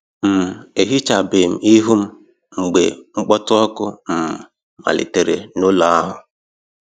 um Ehichabem ihu m mgbe mkpọtụ ọkụ um malitere n'ụlọ ahụ